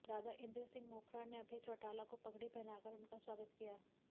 दादा इंद्र सिंह मोखरा ने अभय चौटाला को पगड़ी पहनाकर उनका स्वागत किया